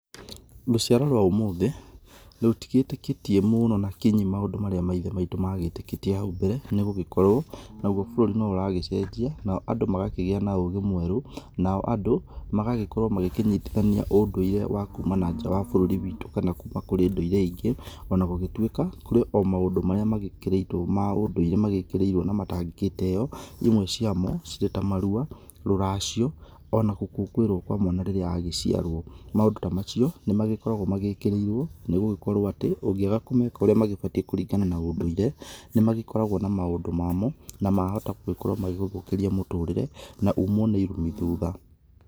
Rũciaro rwa ũmũthĩ rũtigĩtĩkĩtie mũno na kinyi maũndũ marĩa maithe maitũ magĩtĩkĩtie hau mbere nĩ gũgĩkorwo naguo bũrũri no ũragĩcenjia nao andũ magakĩgĩa na ũgĩ mwerũ nao andũ magagĩkorwo magĩkĩnyitithania ũndũĩre wa kuma na nja wa bũrũri witũ kana kuma kũrĩ ndũĩre ĩrĩa ĩngĩ, ona gũgĩtuĩka kũrĩ o maũndũ marĩa magĩkĩrĩtwo ma ũndũĩre magĩkĩrĩirwo na matangĩgĩteyo, ĩmwe cĩamo cirĩ ta marua, rũracio, ona gũkũngũĩrwo kwa mwana rĩrĩa agĩciarwo. Maũndũ ta macio nĩ magĩkoragwo magĩkĩrĩirwo nĩgũgĩkorwo atĩ ũngĩaga kũmeka ũrĩa mabatĩĩ kũringana na ũndũĩre nĩmagĩkoragwo na maũndũ mamo na mahota gũgĩkorwo magĩgũthũkĩria mũtũrĩre na umwo nĩ ĩrumĩ thutha.